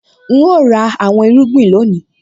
N óò ra àwọn irúgbìn lónìí